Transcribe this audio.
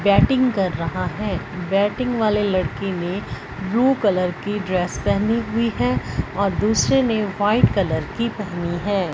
Batting कर रहा है बैटिंग वाले लड़के ने ब्लू कलर की ड्रेस पहनी हुई है और दूसरे ने व्हाइट कलर की पहनी है।